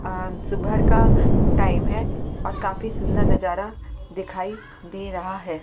अ सुबह का टाइम है और काफी सुंदर नजारा दिखाई दे रहा है।